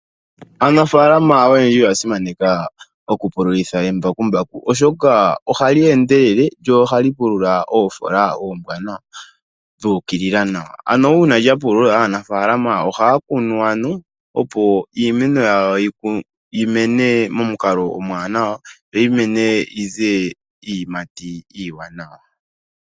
Aanafalama oyendji oya simaneka oku pululitha embakumbaku oshoka ohali endelele lyo ohali pulula oofola oombwanawa dhu ukilila nawa. Uuna lya pulula aanafalama ohaya kunu opo iimeno yawo yi mene momukalo omuwanawa yo yi yimene yize iiyimati iiwanawa.